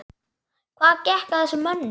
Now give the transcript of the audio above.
Hvað gekk að þessum mönnum?